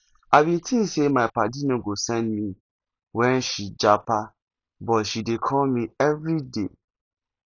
i bin tink sey my paddy no go send me wen she japa but she dey call me everyday